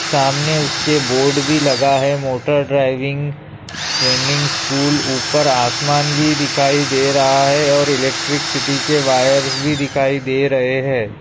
सामने उसके बोर्ड भी लगा है मोटर ड्राइविंग ट्रेनिंग स्कूल ऊपर आसमान भी दिखाई दे रहा है और इलेक्ट्रिसिटी के वायर्स भी दिखाई दे रहे है।